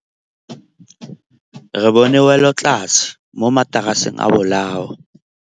Re bone wêlôtlasê mo mataraseng a bolaô.